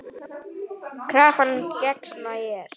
Krafan gegnsæ er.